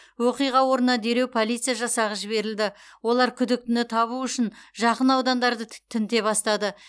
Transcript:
оқиға орнына дереу полиция жасағы жіберілді олар күдіктіні табу үшін жақын аудандарды тінте бастады